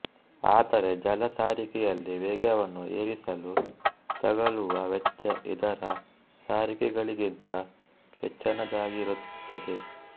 ಆದರೆ ಜಲ ಸಾರಿಗೆಯಲ್ಲಿ ವೇಗವನ್ನು ಏರಿಸಲು ತಗಲುವ ವೆಚ್ಚ ಇತರ ಸಾರಿಗೆಗಳಲ್ಲಿಗಿಂತ ಹೆಚ್ಚನದಾಗಿರುತ್ತದೆ